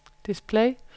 display